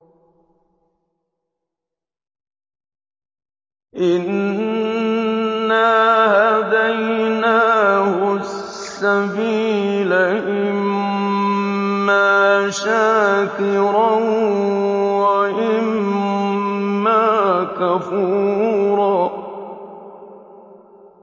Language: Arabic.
إِنَّا هَدَيْنَاهُ السَّبِيلَ إِمَّا شَاكِرًا وَإِمَّا كَفُورًا